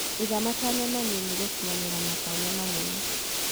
Iga matanya manini gũkinyĩra matanya manene.